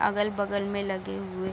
अगल-बगल में लगे हुए --